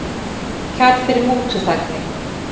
Kærð fyrir mútuþægni